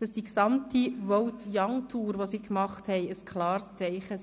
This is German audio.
dass die gesamte «Vote-Young-Tour» ein klares Zeichen war.